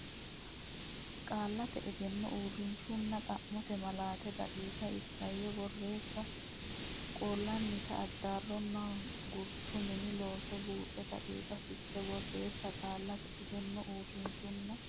Qaallate Egenno Uurrishshunna xa mote malaate daqiiqa Isayyo boreessa Qoollannita Addarronna Gurcho Mini Looso Buuxa daqiiqa Fiche Borreessa Qaallate Egenno Uurrishshunna.